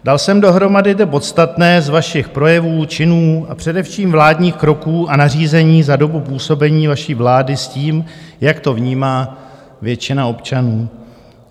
Dal jsem dohromady to podstatné z vašich projevů, činů a především vládních kroků a nařízení za dobu působení vaší vlády s tím, jak to vnímá většina občanů.